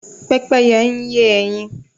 Pẹ́pẹ́yẹ ń yé ẹyin.